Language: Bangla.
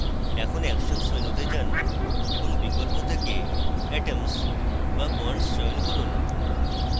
এখন actions মেনুতে যান এবং বিকল্প থেকে atoms/bonds চয়ন করুন